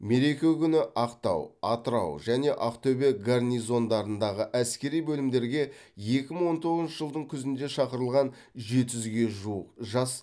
мереке күні ақтау атырау және ақтөбе гарнизондарындағы әскери бөлімдерге екі мың он тоғызыншы жылдың күзінде шақырылған жеті жүзге жуық жас